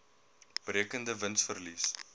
berekende wins verlies